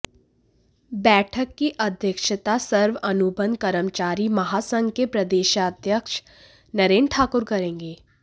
बैठक की अध्यक्षता सर्व अनुबंध कर्मचारी महासंघ के प्रदेशाध्यक्ष नरेंद्र ठाकुर करेंगे